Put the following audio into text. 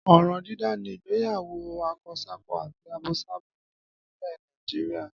Ọ̀ràn dídá ni ìgbéyàwó akọsákọ àti abosábo ni nílẹ̀ Nàìjíríà.